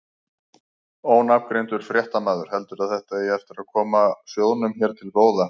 Ónafngreindur fréttamaður: Heldurðu að þetta eigi eftir að koma sjóðnum hér til góða?